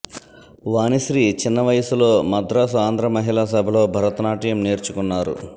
వాణిశ్రీ చిన్న వయసులో మద్రాసు ఆంధ్ర మహిళాసభలో భరత నాట్యం నేర్చుకున్నారు